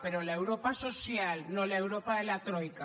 però l’europa social no l’europa de la troica